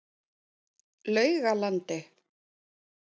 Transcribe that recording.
Laugalandi